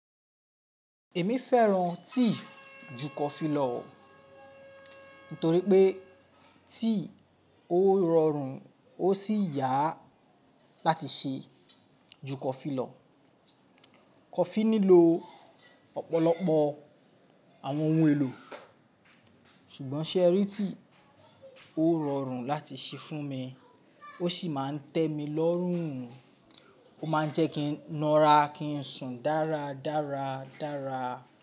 Èmi fẹ́ràn tíì ju kofi lo o, nítorí pé tíì ó rọrùn ó sì yá láti ṣe ju kọfi lọ̀. Kọfi nílò ọ̀pọ̀lọpọ̀ àwọn ohun èlò, ṣùgbọ́n ṣe ẹ́rì tíì ó rọrùn láti ṣe fún mi, ó sì máa ń tẹ́ mi lọ́rùn un, ó má ń jẹ́ kí n nara kí n sùn dáradára.